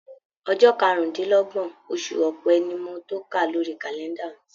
Ọjọ́ karùndínlọ́gbọ̀n oṣù ọ̀pẹ ni mo tóka lórí kàlẹ́ndà mi.